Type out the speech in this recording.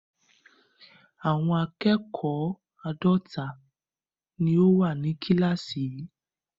Àwọn akẹ́kọ̀ọ́ àádọ́ta ni ó wà ní kíláàsì yìí.